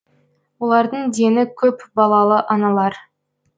олардың дені көпбалалы аналар